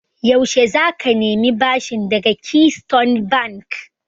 Yaushe za ka nemi bashin daga Keystone Bank?